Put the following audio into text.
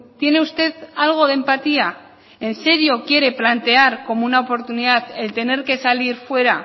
tiene usted algo de empatía en serio quiere plantear como una oportunidad el tener que salir fuera